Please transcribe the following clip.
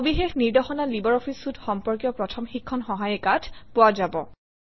সবিশেষ নিৰ্দেশনা লাইব্ৰঅফিছ চুইতে সম্পৰ্কীয় প্ৰথম শিক্ষণ সহায়িকাত পোৱা যাব